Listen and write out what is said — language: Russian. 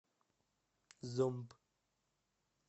зомб